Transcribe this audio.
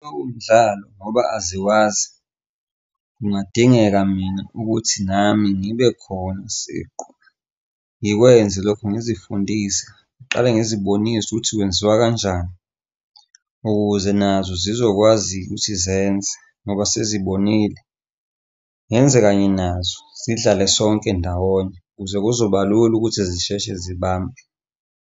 Umdlalo ngoba aziwazi, kungadingeka mina ukuthi nami ngibe khona siqu ngikwenze lokho ngizifundise ngiqale ngizibonise ukuthi kwenziwa kanjani. Ukuze nazo zizokwazi ukuthi zenze ngoba sezibonile. Ngenze kanye nazo zidlale sonke ndawonye ukuze kuzoba lula ukuthi zisheshe zibambe.